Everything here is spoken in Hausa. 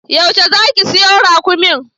Yaushe zaki siyo raƙumin?